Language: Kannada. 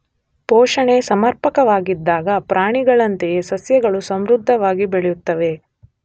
ಪೋಷಣೆ ಸಮರ್ಪಕವಾಗಿದ್ದಾಗ ಪ್ರಾಣಿಗಳಂತೆಯೇ ಸಸ್ಯಗಳು ಸಮೃದ್ಧವಾಗಿ ಬೆಳೆಯುತ್ತವೆ.